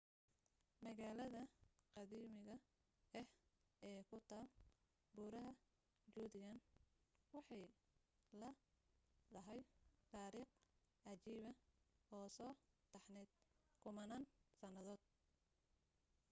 magalaada qadiimiga ah ee ku taal buuraha judean waxay leedahay taariikh cajiiba oo soo taxnayd kummanaan sannadood